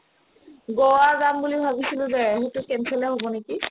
গোৱা যাম বুলি ভাবিছিলো যে সেইটো cancel য়ে হ'ব নেকি ?